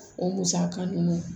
O musaka ninnu